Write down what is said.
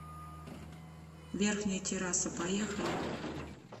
верхняя терраса поехали